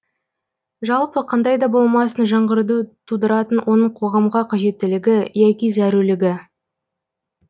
жалпы қандай да болмасын жаңғыруды тудыратын оның қоғамға қажеттілігі яки зәрулігі